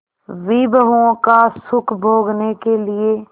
विभवों का सुख भोगने के लिए